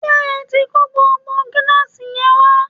ṣé ẹ tí kó gbogbo gíláàsì yẹn wá?